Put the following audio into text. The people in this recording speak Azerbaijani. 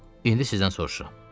İndi sizdən soruşuram.